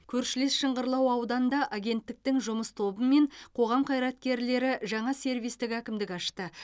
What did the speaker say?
көршілес шыңғырлау ауданында агенттіктің жұмыс тобы мен қоғам қайраткерлері жаңа сервистік әкімдік ашты